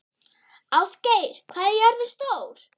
Ástgeir, hvað er jörðin stór?